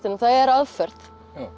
það er aðferð